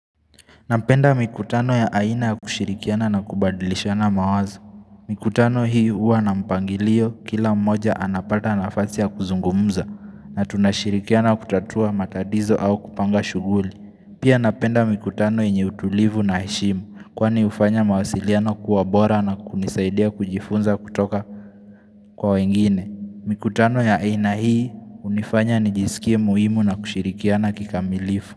Napenda mikutano ya aina ya kushirikiana na kubadilishana mawazo. Mikutano hii huwa na mpangilio kila mmoja anapata nafasi ya kuzungumza na tunashirikiana kutatua matatizo au kupanga shughuli. Pia napenda mikutano yenye utulivu na heshimu kwani hufanya mawasiliano kuwa bora na kunisaidia kujifunza kutoka kwa wengine. Mikutano ya aina hii hunifanya nijisikie muhimu na kushirikiana kikamilifu.